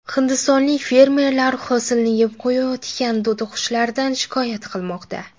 Hindistonlik fermerlar hosilni yeb qo‘yayotgan to‘tiqushlardan shikoyat qilmoqda .